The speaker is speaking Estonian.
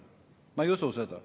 Ma ei usu seda.